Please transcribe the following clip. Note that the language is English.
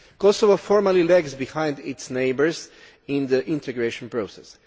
Kosovo formally lags behind its neighbours in the integration process.